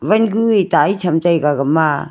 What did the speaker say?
wan gu e tai cham taiga gama.